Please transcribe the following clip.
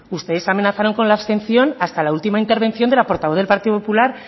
ustedes amenazaron con la abstención hasta la última intervención de la portavoz del partido popular